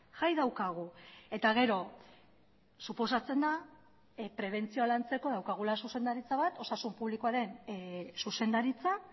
jai daukagu eta gero suposatzen da prebentzioa lantzeko daukagula zuzendaritza bat osasun publikoaren zuzendaritza